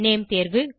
name தேர்வு